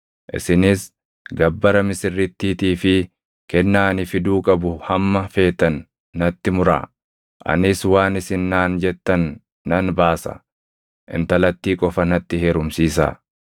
Isinis gabbara misirrittiitii fi kennaa ani fiduu qabu hamma feetan natti muraa; anis waan isin naan jettan nan baasa. Intalattii qofa natti heerumsiisaa.”